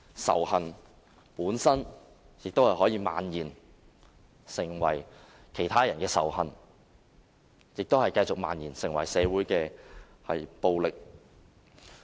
仇恨本身可以漫延成為其他人的仇恨，繼而漫延成社會暴力。